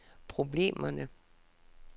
problemerne